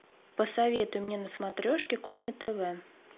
посоветуй мне на смотрешке кухня тв